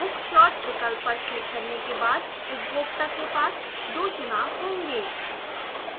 book slot विकल्प पर click करने के बाद उपभोक्ता के पास दो चुनाव होंगे